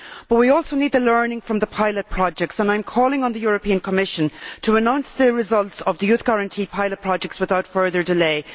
But we also need the learning from pilot projects, and I am calling on the European Commission to announce the results of the Youth Guarantee pilot projects without further delay.